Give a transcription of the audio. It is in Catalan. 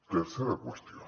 tercera qüestió